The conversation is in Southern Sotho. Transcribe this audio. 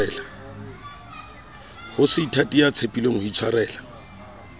waseithati ya tshepileng ho itshwarela